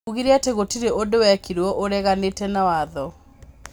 Ũgire atĩĩ gureũtirĩ ũndũ wekirũo ũreganĩte na watho.